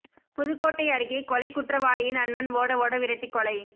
புதுக்கோட்டை அருகே கொலை குற்றவாளியின் அண்ணன் ஓட ஓட விரட்டி கொலை